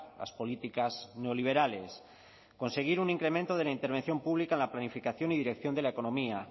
las políticas neoliberales conseguir un incremento de la intervención pública en la planificación y dirección de la economía